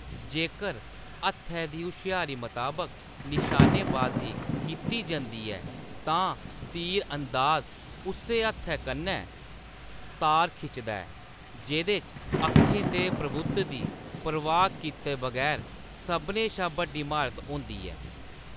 जेकर हत्थै दी हुश्यारी मताबक निशानेबाज़ी कीती जंदी ऐ, तां तीर-अंदाज उस्सै हत्थै कन्नै तार खिचदा ऐ जेह्‌‌‌दे च अक्खें दे प्रभुत्व दी परवाह्‌‌ कीते बगैर सभनें शा बड्डी म्हारत होंदी ऐ।